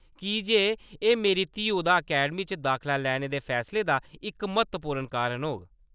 की जे एह्‌‌ मेरी धीऊ दा अकैडमी च दाखला लैने दे फैसले दा इक म्हत्वपूर्ण कारण होग।